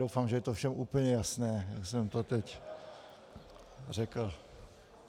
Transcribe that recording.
Doufám, že je to všem úplně jasné, jak jsem to teď řekl.